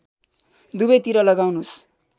दुबै तिर लगाउनुस्